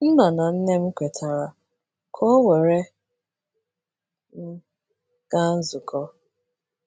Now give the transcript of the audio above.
Nna na nne m kwetara ka ọ were m gaa nzukọ.